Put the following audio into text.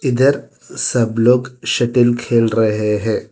इधर सब लोग शटल खेल रहे हैं।